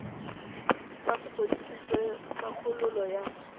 sa sepodisi sa kgololo ya